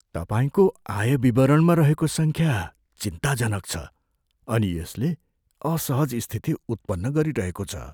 तपाईँको आय विवरणमा रहेको सङ्ख्या चिन्ताजनक छ, अनि यसले असहज स्थिति उत्पन्न गरिरहेको छ।